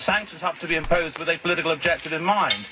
Sanctions have to be imposed with a political objective in mind.